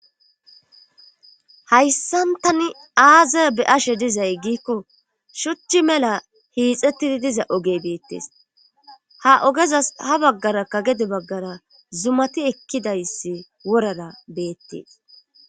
Hayssan tani aaza be'ashe dizay giikko shuchchi mela hiixettidi diza ogey beettees ha ogezas ha baggara kagede baggara zumati ekkidayssi worara beettees.